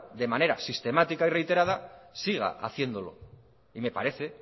de manera sistemática y reiterada siga haciéndolo y me parece